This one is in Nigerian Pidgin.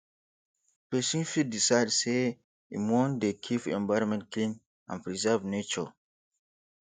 persin fit decide say im won de keep environment clean and preserve nature